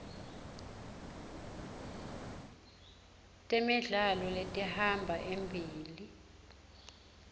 temidlalo letihamba embili